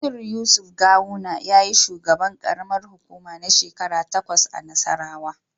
Nasiru yusuf gawuna yayi shugaban Karamar hukuma na shekara takwas a nassarawa